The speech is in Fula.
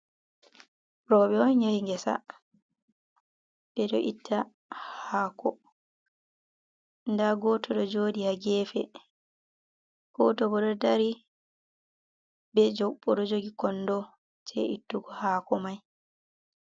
Rouɓe on yahi gesa, ɓe do itta haako da goto do jooɗi ha geefe goto bo ɗo daari jaaba be kondo jei ittugo haako mai.